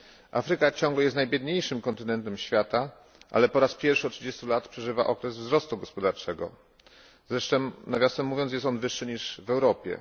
Afryka ciągle jest najbiedniejszym kontynentem świata, ale po raz pierwszy od trzydziestu lat przeżywa okres wzrostu gospodarczego. Zresztą, nawiasem mówiąc, jest on wyższy niż w Europie.